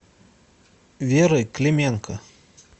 верой клименко